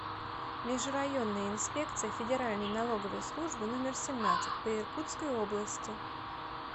межрайонная инспекция федеральной налоговой службы номер семнадцать по иркутской области